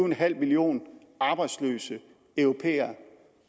millioner arbejdsløse europæere